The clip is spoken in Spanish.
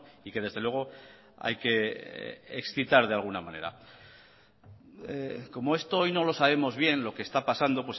y que desde luego hay que excitar de alguna manera como esto hoy no lo sabemos bien lo que está pasando